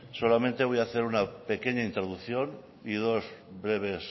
solamente voy hacer una pequeña introducción y dos breves